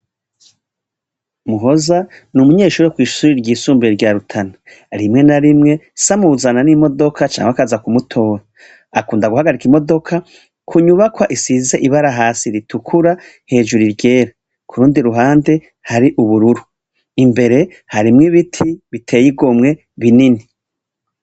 Muhoza ni umunyeshure wo kw'ishure ryisumbuye rya Rutana. Rimwe na rimwe, se amuzana n'imdodoka canke akaza kumutora Akunda guhagarika imodoka ku nyubakwa isize ibara hasi ritukura, hejuru iryera. Ku rundi ruhande, hari ubururu Imbere harimwo ibiti biteye igomwe, binini.